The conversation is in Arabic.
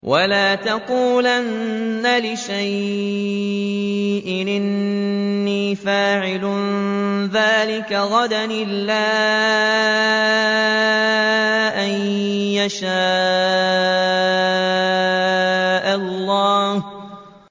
وَلَا تَقُولَنَّ لِشَيْءٍ إِنِّي فَاعِلٌ ذَٰلِكَ غَدًا